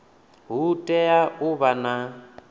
hu tea u vha na